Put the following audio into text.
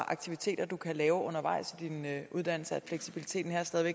aktiviteter du kan lave undervejs i din uddannelse og at fleksibiliteten her stadig